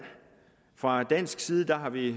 fra dansk side har vi